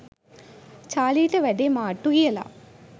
චාලිට වැඩේ මාට්ටු කියලා.